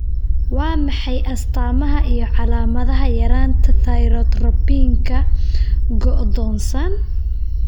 Waa maxay astamaha iyo calaamadaha yaraanta Thyrotropinka, go'doonsan?